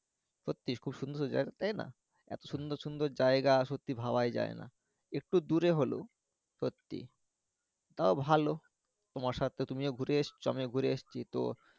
সত্যিই খুব সুন্দর সুন্দর জাইগা তাইনা এতো সুন্দর সুন্দর জাইগা সত্যিই ভাবাই যাইনা একটু দূরে হলেও সত্যিই তাও ভালো তোমার তুমিও ও ঘুরে এসেছ আমিও ঘুরে এসছি তো